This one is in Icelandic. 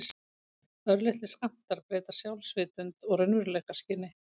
Örlitlir skammtar breyta sjálfsvitund og raunveruleikaskyni.